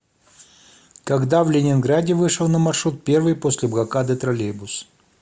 когда в ленинграде вышел на маршрут первый после блокады троллейбус